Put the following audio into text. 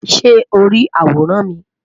Ṣe o ri aworan mi?